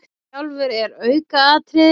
Hann sjálfur er aukaatriði.